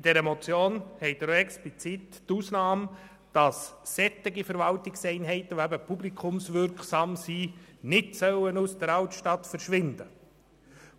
In dieser Motion finden Sie explizit auch die Ausnahme, dass Verwaltungseinheiten, die publikumswirksam sind, nicht aus der Altstadt verschwinden